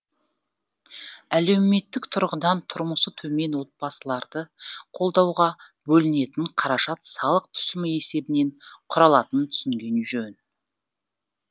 әлеуметтік тұрғыдан тұрмысы төмен отбасыларды қолдауға бөлінетін қаражат салық түсімі есебінен құралатынын түсінген жөн